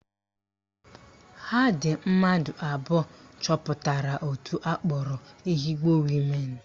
Ha dị mmadụ abụọ chọpụtara òtù akpọrọ Ehugbo Women